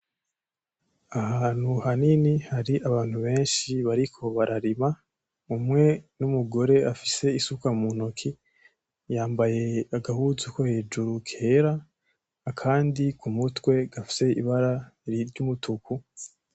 Ahantu hanini hari abantu benshi bariko bararima umwe N’umugore afise isuka muntoki yambaye agahuzu ko hejuru kera akandi kumutwe gafise ibara ry’umutuku.